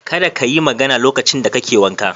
Kada ka yi magana lokacin da kake wanka.